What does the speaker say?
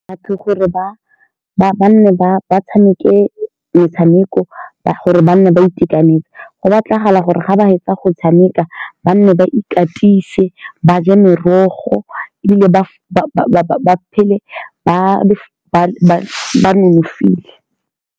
Ke gore ba-ba nne ba tshameke metshameko ba gore ba nne ba itekanetse. Go batlagala gore ga ba fetsa go tshameka ba nne ba ikatise ba je merogo, ebile ba-ba-ba phele ba ba-ba-ba nonofile.